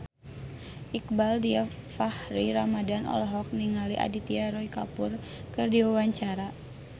Iqbaal Dhiafakhri Ramadhan olohok ningali Aditya Roy Kapoor keur diwawancara